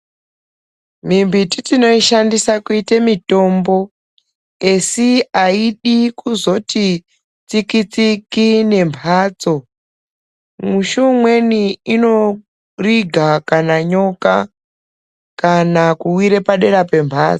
Mimbiti tinoishandisa kuite mutombo esi aidi kuzoti tsiki tsiki nemhatso mushi umweni inoriga kana nyoka kana kuwire padera pemhatso.